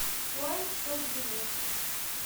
лайк шоп билет